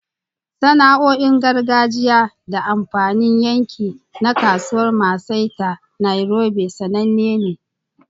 Sana'o'in gargajiya da amfanin yanki na Kasuwar Maasai ta Nairobi sananne ne.